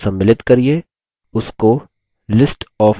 सभी fields को सम्मिलित करिये